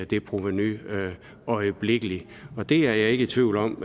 det provenu øjeblikkeligt og det er jeg ikke tvivl om